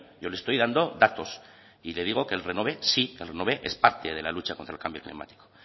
yo le estoy dando datos y le digo que el renove sí que el renove es parte de la lucha contra el cambio climático